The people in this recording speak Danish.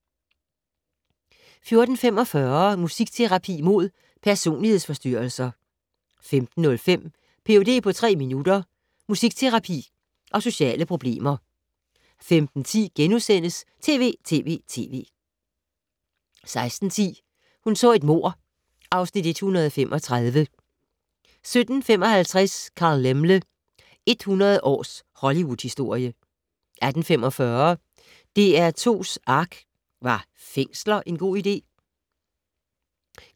14:45: Musikterapi mod personlighedsforstyrrelser 15:05: Ph.d. på tre minutter - musikterapi og sociale problemer 15:10: TV!TV!TV! * 16:10: Hun så et mord (Afs. 135) 17:55: Carl Laemmle - 100 års hollywoodhistorie 18:45: DR2's ARK - Var fængsler en god idé?